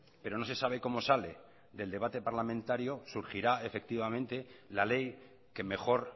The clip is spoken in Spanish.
pero no se sabe como sale del debate parlamentario surgirá la ley que mejor